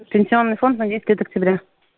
пенсионный фонд на десять лет октября